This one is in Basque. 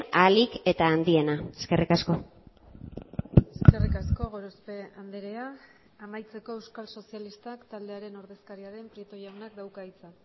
ahalik eta handiena eskerrik asko eskerrik asko gorospe andrea amaitzeko euskal sozialistak taldearen ordezkaria den prieto jaunak dauka hitza